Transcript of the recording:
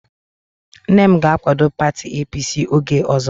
Nne m ga-akwado pati APC oge ọzọ